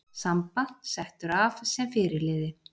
Samba settur af sem fyrirliði